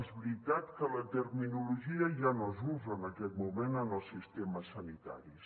és veritat que la terminologia ja no s’usa en aquest moment en els sistemes sanitaris